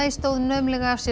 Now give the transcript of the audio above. stóðu naumlega af sér